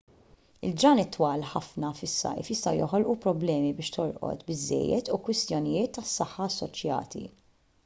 il-ġranet twal ħafna fis-sajf jistgħu joħolqu problemi biex torqod biżżejjed u kwistjonijiet tas-saħħa assoċjati